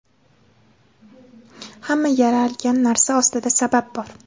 hamma yaralgan narsa ostida sabab bor.